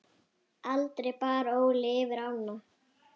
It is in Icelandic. Aldrei bar Óli yfir ána.